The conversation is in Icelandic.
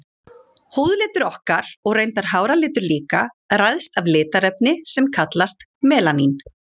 Húðlitur okkar, og reyndar háralitur líka, ræðst af litarefni sem kallast melanín.